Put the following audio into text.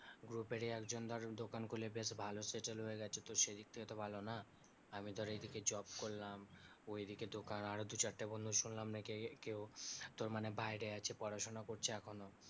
group এরই একজন ধর দোকান খুলে বেশ ভালো settle হয়ে গেছে তো সেই দিক থেকে তো ভালো না আমি ধর এই দিকে job করলাম ওই দিকে দোকান আরো দুই চারটে বন্ধুর শুনলাম নাকি কে~কেও তোর মানে বাইরে আছে পড়াশুনা করছে এখনো